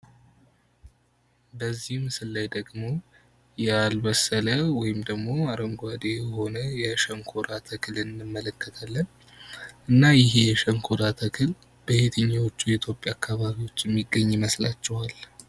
በዚህ ምስል ላይ ደግሞ ያልበሰለ ወይም ደግሞ አረንጓዴ የሆነ የሸንኮራ ተክል እንመለከታለን ።እና ይሄ የሸንኮራ ተክል በየትኞቹ የኢትዮጵያ አካባቢዎች ሚገኝ ይመስላችኋል?